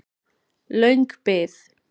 Löng bið